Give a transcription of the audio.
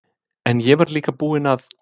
En ég var líka búin að